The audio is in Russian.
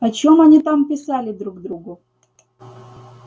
о чем они там писали друг другу